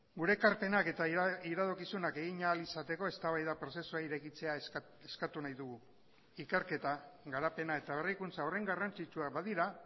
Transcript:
gure ekarpenak eta iradokizunak egin ahal izateko eztabaida prozesua irekitzea eskatu nahi dugu ikerketa garapena eta berrikuntza horren garrantzitsuak badira